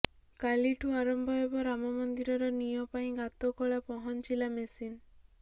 କାଲିଠୁ ଆରମ୍ଭ ହେବ ରାମ ମନ୍ଦିରର ନିଅଁ ପାଇଁ ଗାତ ଖୋଳା ପହଞ୍ଚିଲା ମେସିନ